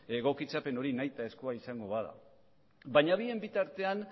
egokitzapen hori nahitaezkoa izango bada baina bien bitartean